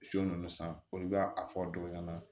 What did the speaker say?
Su ninnu san olu bɛ a fɔ dɔw ɲɛna